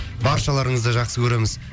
баршаларыңызды жақсы көреміз